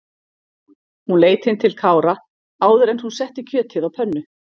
Hún leit inn til Kára áður en hún setti kjötið á pönnu.